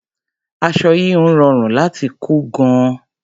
Aṣọ híhun rọrùn láti kọ́ gan-an.